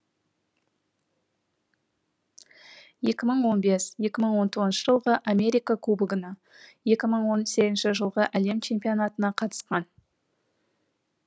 екі мың он бес екі мың он тоғызыншы жылғы америка кубогына екі мың он сегізінші жылғы әлем чемпионатына қатысқан